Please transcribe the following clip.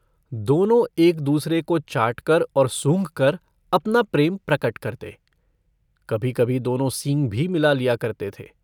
दोनों एक दूसरे को चाटकर और सूँघकर अपना प्रेम प्रकट करते कभीकभी दोनों सींग भी मिला लिया करते थे।